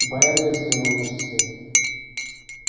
байерли взглянул на часы